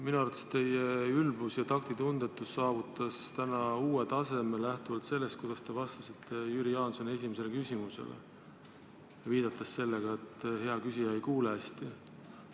Minu arvates teie ülbus ja taktitundetus saavutas täna uue taseme, kui te vastasite Jüri Jaansoni esimesele küsimusele, viidates sellele, et hea küsija ei kuule hästi.